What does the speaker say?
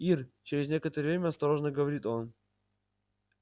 ир через некоторое время осторожно говорит он